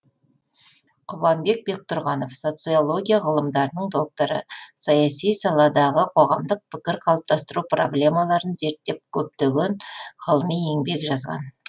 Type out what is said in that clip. құбанбек бектұрғанов социология ғылымдарының докторы саяси саладағы қоғамдық пікір қалыптастыру проблемаларын зерттеп көптеген ғылыми еңбектер жазған